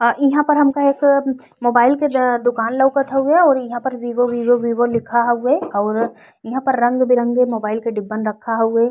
और इहा पर हमका एक मोबाइल के दुकान लउकत हउए और ईहा पर वीवो वीवो वीवो लिखा हुउए और इहा पे रंग बिरंगे मोबाईल के डिब्बे रखे हउए।